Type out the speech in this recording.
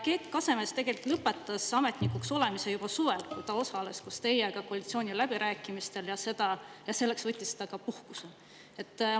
Keit Kasemets lõpetas ametnikuks olemise juba suvel, kui ta osales koos teiega koalitsiooniläbirääkimistel ja võttis selleks ka puhkuse.